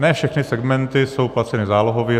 Ne všechny segmenty jsou placeny zálohově.